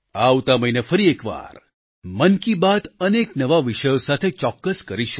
આવતા મહિને ફરી એકવાર મન કી બાત અનેક નવા વિષયો સાથે ચોક્કસ કરીશું